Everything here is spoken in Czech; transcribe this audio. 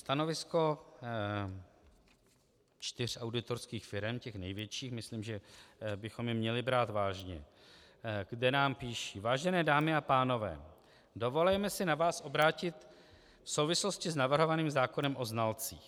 Stanovisko čtyři auditorských firem, těch největších, myslím, že bychom je měli brát vážně, kde nám píší: "Vážené dámy a pánové, dovolujeme si na vás obrátit v souvislosti s navrhovaným zákonem o znalcích.